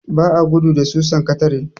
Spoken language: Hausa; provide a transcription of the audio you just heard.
Ba a gudu da susan katare.